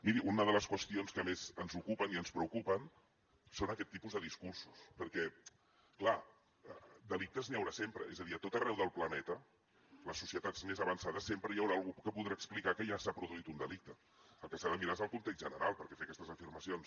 miri una de les qüestions que més ens ocupen i ens preocupen són aquest tipus de discursos perquè clar delictes n’hi haurà sempre és a dir a tot arreu del planeta a les societats més avançades sempre hi haurà algú que podrà explicar que allà s’ha produït un delicte el que s’ha de mirar és el context general perquè fer aquestes afirmacions